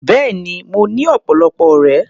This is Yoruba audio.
Bẹ́ẹ̀ni, mo ní ọ̀pọ̀lọpọ̀ ọ̀rẹ́.